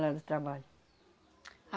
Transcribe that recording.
Lá do trabalho.